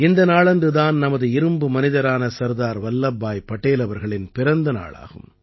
இந்த நாளன்று தான் நமது இரும்பு மனிதரான சர்தார் வல்லப்பாய் படேல் அவர்களின் பிறந்த நாள் ஆகும்